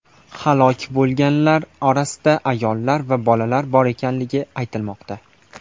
Halok bo‘lganlar orasida ayollar va bolalar bor ekanligi aytilmoqda.